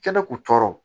Kɛnɛ kun cɔrɔ